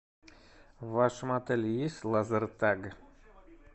в вашем отеле есть лазертаг